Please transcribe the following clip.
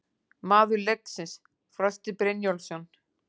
Maður leiksins: Frosti Brynjólfsson